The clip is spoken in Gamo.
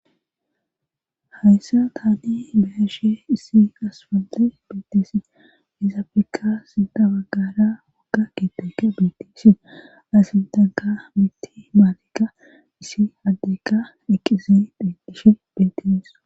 hayssa taani bayashe issi aspante beeteesi ezapfekka sinta bagara wagga kitoke betisi asin tanka mitti maalekka issi addeka dheqqize detishe betes